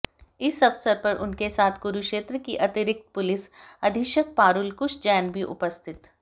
इस अवसर पर उनके साथ कुरुक्षेत्र की अतिरिक्त पुलिस अधीक्षक पारूल कुश जैन भी उपस्थित